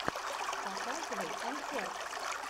показывай концерт